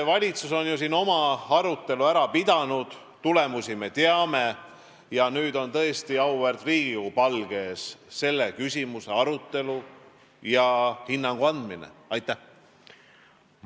Valitsus on ju oma arutelu ära pidanud, tulemusi me teame ja nüüd on tõesti selle küsimuse arutelu ja hinnangu andmine auväärt Riigikogu palge ees.